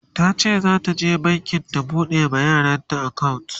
tace zata je banki ta buɗe ma yaranta akawunt